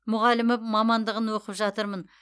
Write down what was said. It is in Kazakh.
мұғалімі мамандығын оқып жатырмын